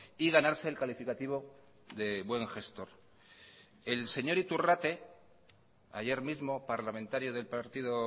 y ganarse el calificativo de buen gestor el señor iturrate ayer mismo parlamentario del partido